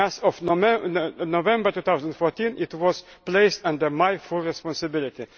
As of November 2014, it was placed under my full responsibility.